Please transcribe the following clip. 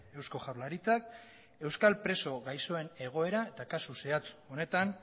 eusko jaurlaritzak euskal preso gaixoen egoera eta kasu zehatz honetan